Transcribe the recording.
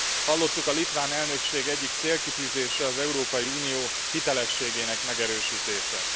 Hallottuk, a litván elnökség egyik célkitűzése az Európai Unió hitelességének megerősítése.